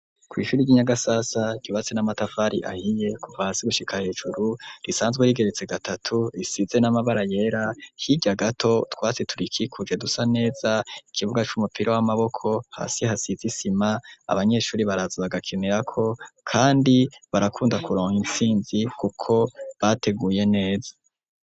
kwishuri ry'inyagasasa ryubatse n'amatafari ahiye kuva hasi gushika hejuru , risanzwe rigeretse gatatu risize n'amabara yera , hirya gato utwatsi turiki kuje dusa neza , ikibuga c'umupira w'amaboko , hasi hasiz' isima abanyeshuri baraza bagakinirako, kandi ,barakunda kuronka intsinzi kuko , bateguye neza.